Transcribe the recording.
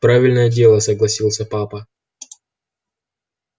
правильное дело согласился папа